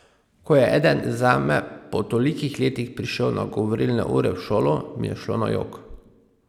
Ko je eden zame po tolikih letih prišel na govorilne ure v šolo, mi je šlo na jok!